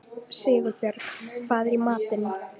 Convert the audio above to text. Sigurbjörg, hvað er í matinn?